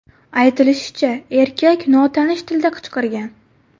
Aytilishicha, erkak notanish tilda qichqirgan.